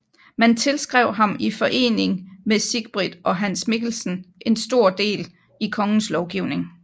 Man tilskrev ham i forening med Sigbrit og Hans Mikkelsen stor del i kongens lovgivning